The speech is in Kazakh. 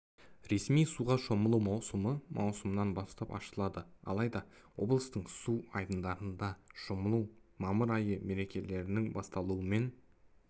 ресми суға шомылу маусымы маусымнан бастап ашылады алайда облыстың су айдындарында шомылу мамыр айы мерекелерінің басталуымен